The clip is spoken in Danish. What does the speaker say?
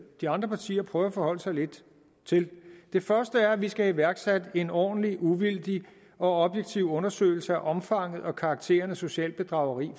de andre partier prøver at forholde sig lidt til det første er at vi skal have iværksat en ordentlig uvildig og objektiv undersøgelse af omfanget og karakteren af socialt bedrageri